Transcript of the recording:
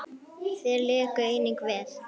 Þeir léku einnig vel.